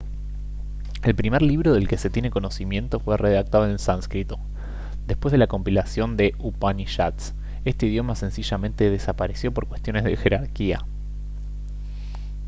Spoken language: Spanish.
el primer libro del que se tiene conocimiento fue redactado en sánscrito después de la compilación de upanishads este idioma sencillamente desapareció por cuestiones de jerarquía